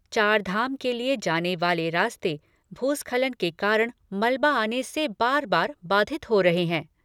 चारधाम के लिए जाने वाले रास्ते भूस्खलन के कारण मलबा आने से बार बार बाधित हो रहे हैं।